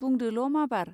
बुंदोल माबार.